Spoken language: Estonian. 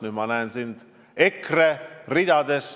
Nüüd ma näen sind EKRE ridades.